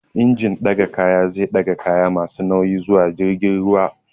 Injin ɗaga kayan zai ɗaga kaya masu nauyi zuwa cikin jirgin ruwa